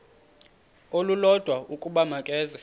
olulodwa ukuba makeze